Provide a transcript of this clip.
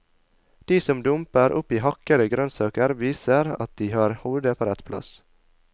De som dumper oppi hakkede grønnsaker, viser at de har hodet på rett plass.